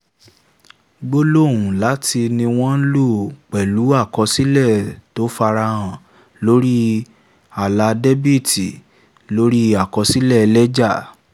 gbólóhùn 'láti' ni wọ́n ń lò pẹ̀lú àkọsílẹ̀ tó farahàn lórí àlà dẹ́bìtì lórí àkọsílẹ̀ lẹ́jà.